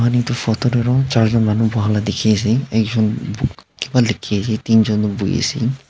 etu photo te charjon manu boha laga dekhi ase ekjon bu kiba likhi ase tinjon to bohi se.